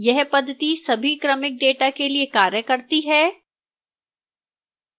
यह पद्धति सभी क्रमिक data के लिए कार्य करती है